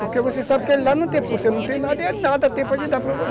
Porque você sabe que ele lá não tem... você não tem nada e ele nada tem para lhe dar para você.